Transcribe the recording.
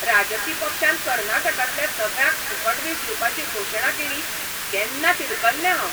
राजकी पक्षान कर्नाटकांतल्या सगळ्यांक फुकट वीज दिवपाची घोशणा केली तेन्ना तिडकल्लें हांव.